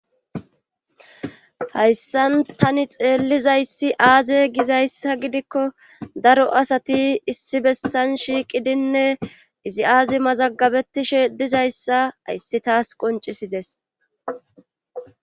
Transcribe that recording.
Hayssan tani xeellizayssi aaze gizayssa gidikko daro asati issi bessan shiiqidinne izi aazi mazagabetishe dizayssa hayssi taas qoncisides.